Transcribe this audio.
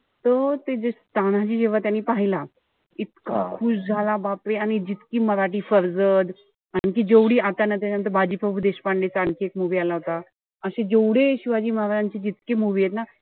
त ते जे तानाजी जेव्हा त्यांनी पहिला. इतका खुश झाला. बापरे. आणि जितकी मराठी आणि ती जेवढी आता ना त्याच्यानंतर बाजीप्रभू देशपांडेचा आणखी एक movie आला होता. अशी जेवढी हि शिवाजी महाराजांची जितके movie एत ना,